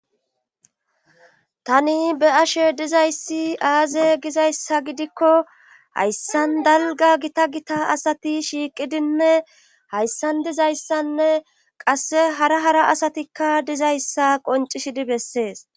tani be'ashe dizayssi aaze gizayssa gidikko hayssan dalga gita gita asati shiiqidinne hayssan dizayssanne qasse hara hara asatikka dizayssa qoncishidi bessees